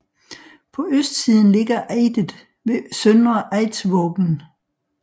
På østsiden ligger Eidet ved søndre Eidsvågen